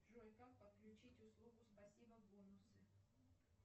джой как подключить услугу спасибо бонусы